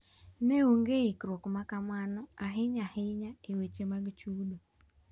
“Ne onge ikruok ma kamano, ahinya ahinya e weche mag chudo.”